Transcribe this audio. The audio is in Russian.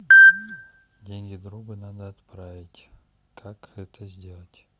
деньги другу надо отправить как это сделать